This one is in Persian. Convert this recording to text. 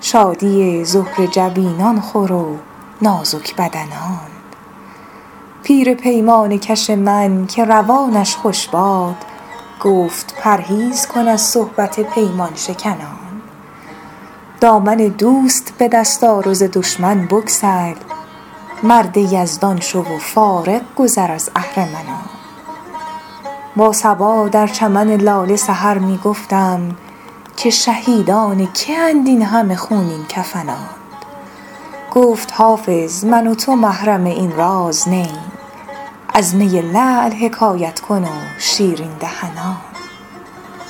شادی زهره جبینان خور و نازک بدنان پیر پیمانه کش من که روانش خوش باد گفت پرهیز کن از صحبت پیمان شکنان دامن دوست به دست آر و ز دشمن بگسل مرد یزدان شو و فارغ گذر از اهرمنان با صبا در چمن لاله سحر می گفتم که شهیدان که اند این همه خونین کفنان گفت حافظ من و تو محرم این راز نه ایم از می لعل حکایت کن و شیرین دهنان